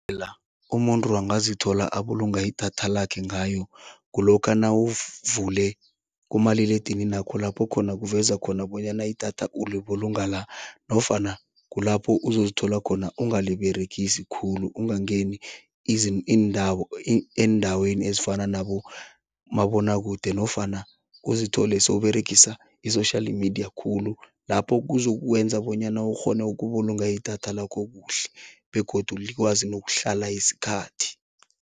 La, umuntu angazithola abulunga idatha lakhe ngayo. Kulokha nawuvule kumaliledininakho lapho khona kuveza khona bonyana idatha ukubulunga la nofana kulapho uzozithola khona ungaliberegisi khulu ungangeni iindawo eendaweni ezifana nabomabonwakude nofana uzithole sewUberegisa i-social media khulu, lapho kuzokwenza bonyana ukghone ukubulunga idatha lakho kuhle begodu likwazi nokuhlala isikhathi.